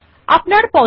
লেখা যাক NAME রমেশ